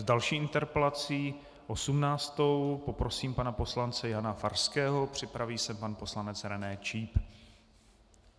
S další interpelací, 18., poprosím pana poslance Jana Farského, připraví se pan poslanec René Číp.